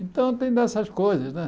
Então tem dessas coisas, né?